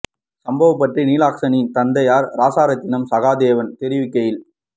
சம்பவம் பற்றி நிலக்சனின் தந்தையார் ராசரத்தினம் சகாதேவன் தெரிவிக்கையில்